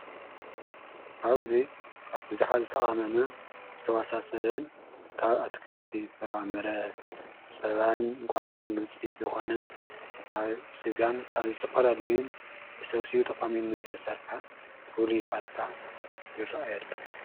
ኃውዙ ካ ብዙኃ ዝተመመ ዝተዋሳ ሰበን ካብ ኣትክልቲ ፍራምረ ጸባን ቋዕቕ ሕን ዉፂ ዝኾነ ካብ ሥጋን ካብ ዘተፈል ኣልይን ተሠውስኡ ተሚም ዝተሠርሐ ፍል ይፋታ ይረአሎ።